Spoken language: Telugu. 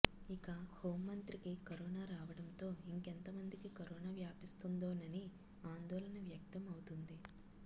ఇక హోంమంత్రికి కరోనా రావడంతో ఇంకెంత మందికి కరోనా వ్యాపిస్తుందోనని ఆందోళన వ్యక్తం అవుతోంది